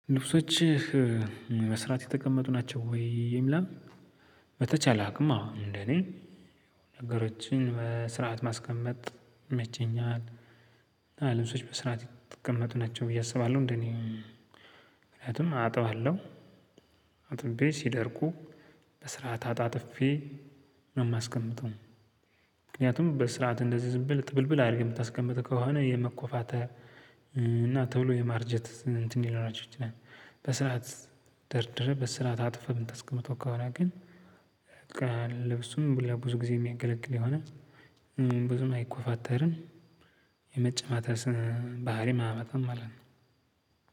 ልብሶችህ በስራት የተቀመጡ ናቸው ወይ? ይላል በተቻለ አቅም አዎ እንደኔ ነገሮችን በስርዓት ማስቀመጥ ይመቸኛል። ልብሶች በስርዓት የቀመጡ ናቸው ብዬ አስባለሁ እንደኔ። ምክንያቱም አጥባለሁ። አጥቤ ሲደርቁ በስርዓት አጣጥፌ ነው የማስቀምጠው። ምክንያቱም በስርዓት እንደዚህ ዝም ብል ጥብልብል አድርገህ የምታስቀምጥ ከሆነ የመኮፋተር እና ቶሎ የማርጀት እንትን ሊኖራቸው ይችላል። በስርዓት ደርድረህ በስርዓት አጥፈህ ምታስቀምጠው ከሆነ ግን በቃ ልብሱም ለብዙ ጊዜ የሚያገለግል የሆነ ብዙም አይኮፋተርም። የመጨማተር ባህሪም አያመጣም ማለት ነው።